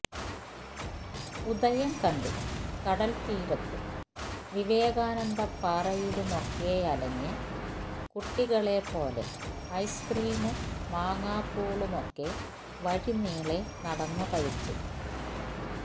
ഉദയം കണ്ട് കടല്ത്തീരത്തും വിവേകാനന്ദപ്പാറയിലുമൊക്കെയലഞ്ഞ് കുട്ടികളെപ്പോലെ ഐസ്ക്രീമും മാങ്ങാപുളുമൊക്കെ വഴിനീളെ നടന്നു കഴിച്ച്